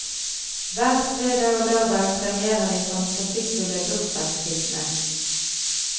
Hver fredag og lørdag premierer vi fantasifulle bursdagshilsner.